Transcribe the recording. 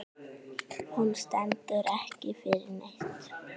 Hún stendur ekki fyrir neitt.